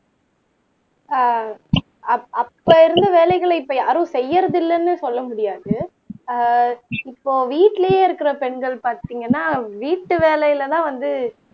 ஆஹ் அப்ப அப்ப இருந்த வேலைகளை இப்ப யாரும் செய்யறதில்லைன்னு சொல்ல முடியாது அஹ் இப்போ வீட்டிலேயே இருக்கிற பெண்கள் பார்த்தீங்கன்னா வீட்டு வேலையிலதான் வந்து